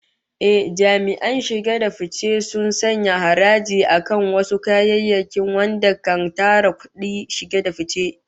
Ehh, jami'an shige da fice sun sanya haraji akan wasu kayayyakin wanda kan tara kudin shiga ga kasa